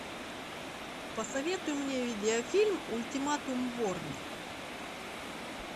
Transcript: посоветуй мне видеофильм ультиматум борна